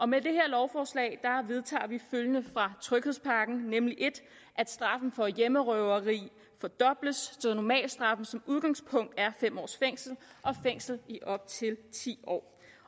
med det her lovforslag vedtager vi følgende fra tryghedspakken nemlig 1 at straffen for hjemmerøverier fordobles så normalstraffen som udgangspunkt er fem års fængsel og fængsel i op til ti år